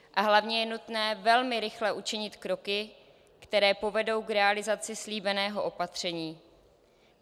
A hlavně je nutné velmi rychle učinit kroky, které povedou k realizaci slíbeného opatření.